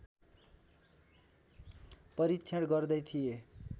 परीक्षण गर्दै थिए